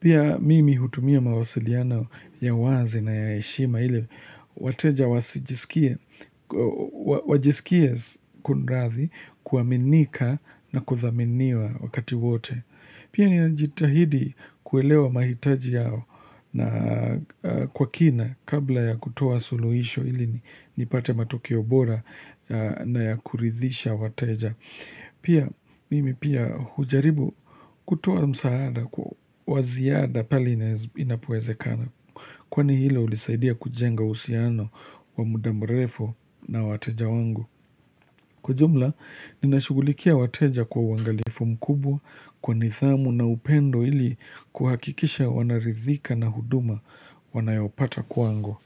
Pia mimi hutumia mawasiliano ya wazi na ya heshima ile wateja wajisikie kunrathi kuaminika na kuthaminiwa wakati wote. Pia ninajitahidi kuelewa mahitaji yao na kwa kina kabla ya kutoa suluhisho ili nipate matokeo bora na ya kuridhisha wateja. Pia mimi pia hujaribu kutoa msaada kwa waziada pahali inapowezekana. Kwani hilo ulisaidia kujenga uhusiano wa muda mrefu na wateja wangu. Kwa ujumla, ninashugulikia wateja kwa uangalifu mkubwa kwa nidhamu na upendo ili kuhakikisha wanaridhika na huduma wanayopata kwangu.